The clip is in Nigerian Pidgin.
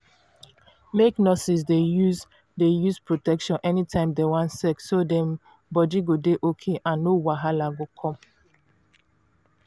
make nurses dey use dey use protection anytime dem wan sex so dem body go dey okay and no wahala go come